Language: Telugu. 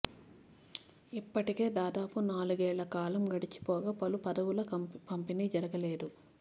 ఇప్పటికే దాదాపు నాలుగేళ్ల కాలం గడిచిపోగా పలు పదవుల పంపిణీ జరగలేదు